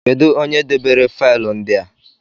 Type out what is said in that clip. Kedụ onye debere faịlụ ndị a?